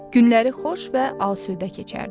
Günləri xoş və asudə keçərdi.